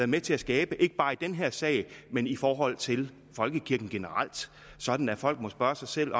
med til at skabe ikke bare i den her sag men i forhold til folkekirken generelt sådan at folk må spørge sig selv